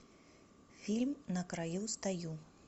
фильм на краю стою